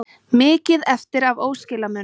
Mikið eftir af óskilamunum